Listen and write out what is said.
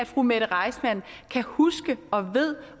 fru mette reissmann kan huske og ved